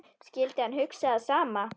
Skyldi hann hugsa það sama?